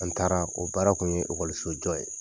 An taara o baara tun ye okɔlisojɔ ye